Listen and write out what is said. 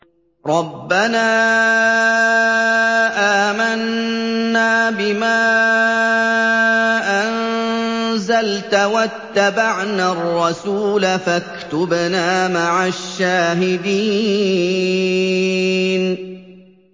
رَبَّنَا آمَنَّا بِمَا أَنزَلْتَ وَاتَّبَعْنَا الرَّسُولَ فَاكْتُبْنَا مَعَ الشَّاهِدِينَ